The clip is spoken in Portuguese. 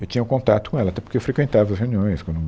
Eu tinha um contato com ela, até porque eu frequentava as reuniões quando